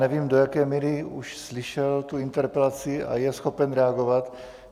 Nevím, co jaké míry už slyšel tu interpelaci a je schopen reagovat.